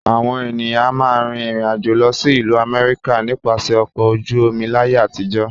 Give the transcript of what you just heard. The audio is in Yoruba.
Àwọn ènìyàn a máa rìn ìrìnàjò lọ sí ìlú Àmẹ́ríkà nípasẹ̀ ọkọ̀ ojú omi láyé àtijọ́